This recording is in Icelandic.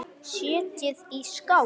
Setjið í skál.